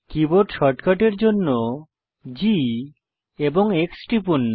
keyboard শর্টকাটের জন্য G এবং X টিপুন